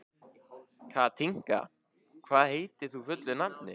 Katinka, hvað heitir þú fullu nafni?